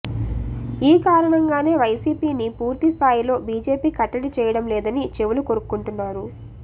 ఈ కారణంగానే వైసీపీని పూర్తి స్థాయిలో బీజేపీ కట్టడి చేయడం లేదని చెవులు కొరుక్కుంటున్నారు